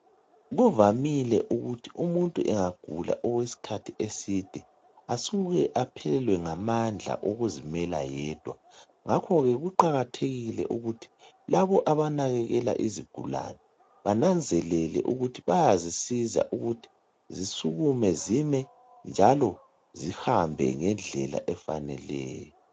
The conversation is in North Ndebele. Kuvamile ukuthi umuntu engagula okwesikhathi eside asuke aphelelwe ngamandla okuzimela yedwa, ngakho ke kuqakathekile ukuthi labo abanakekela izigulane bananzelele ukuthi bayazisiza ukuthi zisukume zime njalo zihambe ngendlela efaneleyo.